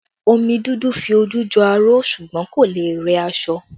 Omi dúdú fi ojú jọ aró ṣùgbọ́n kò lè rẹ aṣọ